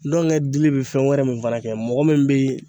Dɔngɛ dili be fɛn wɛrɛ min fɛnɛ kɛ mɔgɔ min be